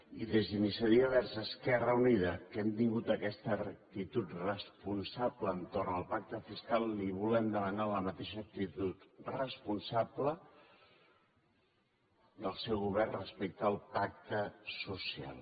i des d’iniciativa verds esquerra unida que hem tingut aquesta actitud responsable entorn al pacte fiscal li volem demanar la mateixa actitud responsable del seu govern respecte al pacte social